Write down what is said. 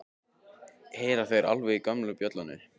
Heyra þeir alveg í gömlu bjöllunni?